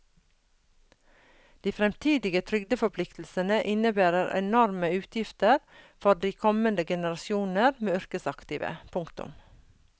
De fremtidige trygdeforpliktelsene innebærer enorme utgifter for de kommende generasjoner med yrkesaktive. punktum